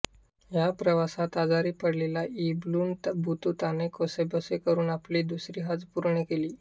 या प्रवासात आजारी पडलेला इब्न बतूताने कसेबसे करून आपली दुसरी हज पूर्ण केली